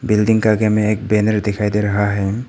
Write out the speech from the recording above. Building का आगे में एक बैनर दिखाई दे रहा है।